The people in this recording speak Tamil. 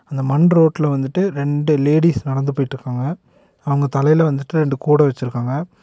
அங்க மண் ரோட்ல வந்துட்டு ரெண்டு லேடிஸ் நடந்து போயிட்டுருக்காங்க. அவங்க தலையில வந்துட்டு ரெண்டு கூட வச்சிருக்காங்க.